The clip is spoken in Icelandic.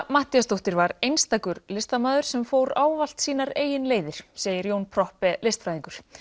Matthíasdóttir var einstakur listamaður sem fór ávallt sínar eigin leiðir segir Jón Proppé listfræðingur